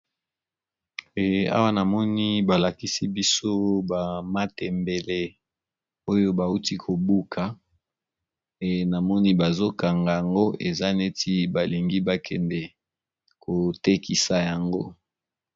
Eh awa na moni ba lakisi biso ba matembele oyo bauti kobuka, e na moni bazo kanga yango eza neti balingi ba kende ko tekisa yango.